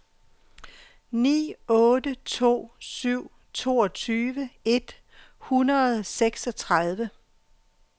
ni otte to syv toogtyve et hundrede og seksogtredive